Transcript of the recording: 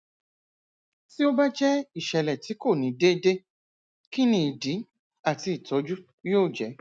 ti o ba jẹ iṣẹlẹ ti ko ni deede kini idi ati itọju yoo jẹ